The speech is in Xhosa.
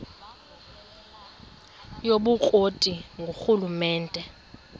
yobukro ti ngurhulumente